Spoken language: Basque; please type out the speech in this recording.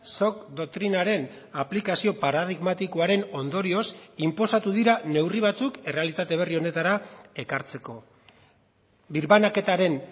shock doktrinaren aplikazio paradigmatikoaren ondorioz inposatu dira neurri batzuk errealitate berri honetara ekartzeko birbanaketaren